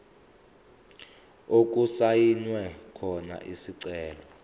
okusayinwe khona isicelo